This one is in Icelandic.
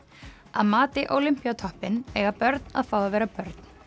að mati eiga börn að fá að vera börn